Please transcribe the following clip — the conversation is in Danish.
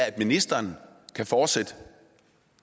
at ministeren kan fortsætte